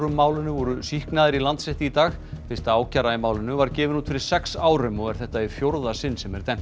málinu voru sýknaðir í Landsrétti í dag fyrsta ákæra í málinu var gefin út fyrir sex árum og er þetta í fjórða sinn sem dæmt